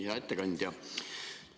Hea ettekandja!